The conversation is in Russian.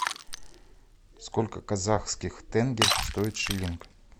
сколько казахских тенге стоит шиллинг